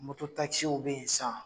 Moto bɛ yen sisan.